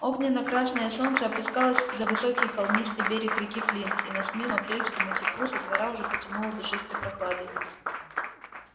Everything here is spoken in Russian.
огненно-красное солнце опускалось за высокий холмистый берег реки флинт и на смену апрельскому теплу со двора уже потянуло душистой прохладой